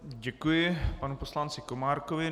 Děkuji panu poslanci Komárkovi.